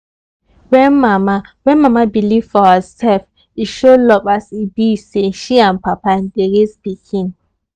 when mama when mama believe for herself e show love as e be say she and papa dey raise pikin